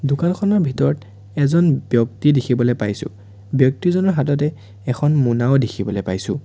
দোকানখনৰ ভিতৰত এজন ব্যক্তি দেখিবলৈ পাইছোঁ ব্যক্তিজনৰ হাততে এখন মোনাও দেখিবলৈ পাইছোঁ।